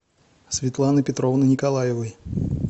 светланы петровны николаевой